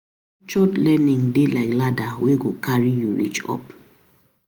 Structured learning dey like ladder wey go carry you reach up.